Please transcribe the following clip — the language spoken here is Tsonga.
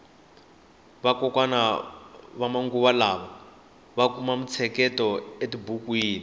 vakokwana va manguva lawa va kuma mitsheketo e tibukwini